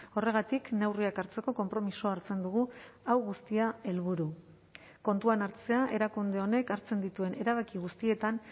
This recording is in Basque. horregatik neurriak hartzeko konpromisoa hartzen dugu hau guztia helburu kontuan hartzea erakunde honek hartzen dituen erabaki guztietan